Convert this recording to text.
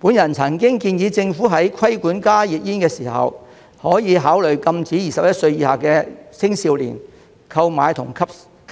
我曾經建議政府在規管加熱煙時，可考慮禁止21歲以下青少年購買和